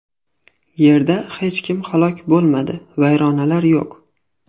Yerda hech kim halok bo‘lmadi, vayronalar yo‘q.